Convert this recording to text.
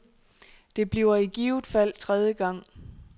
Det bliver i givet fald tredje gang.